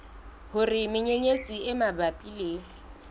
hore menyenyetsi e mabapi le